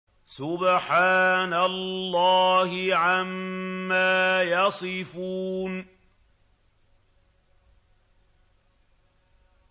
سُبْحَانَ اللَّهِ عَمَّا يَصِفُونَ